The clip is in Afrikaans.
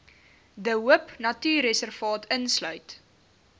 de hoopnatuurreservaat insluit